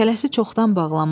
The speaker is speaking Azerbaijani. Şələsi çoxdan bağlanmışdı.